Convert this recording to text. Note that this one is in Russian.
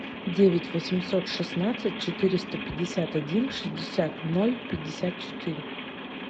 девять восемьсот шестнадцать четыреста пятьдесят один шестьдесят ноль пятьдесят четыре